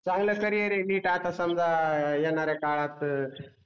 चांगलं करिअर आहे आहे NEET रे मी तर आता समझा येणार आहे काळात